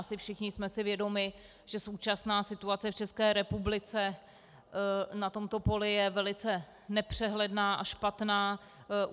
Asi všichni jsme si vědomi, že současná situace v České republice na tomto poli je velice nepřehledná a špatná.